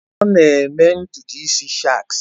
Ọ na-eme ntutu isi shags